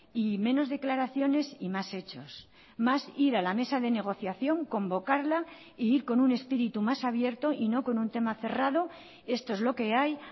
y menos declaraciones y más hechos más ir a la mesa de negociación convocarla e ir con un espíritu más abierto y no con un tema cerrado esto es lo que hay